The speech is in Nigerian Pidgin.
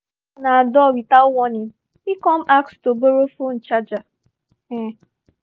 he knock on our door without warning he come ask to borrow phone charger um